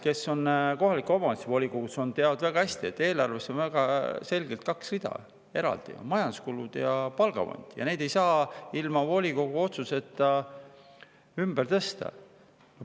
Kes on kohaliku omavalitsuse volikogus, teavad väga hästi, et eelarves on väga selgelt kaks eraldi rida, majanduskulud ja palgafond, ja neid ei saa ilma volikogu otsuseta ümber tõsta.